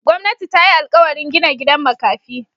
Gwamnati ta yi alkawarin gina gidan makafi.